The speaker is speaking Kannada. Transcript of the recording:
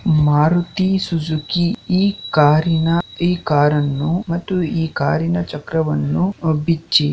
ಮಾರುತಿ ಸುಜುಕಿ ಈ ಕಾರಿನ ಈ ಕಾರನ್ನು ಮತ್ತು ಈ ಕಾರಿನ ಚಕ್ರವನ್ನು ಬಿಚ್ಚಿ.